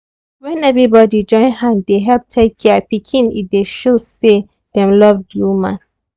when everybody join hand dey help take care pikin e dey show say dem love the woman.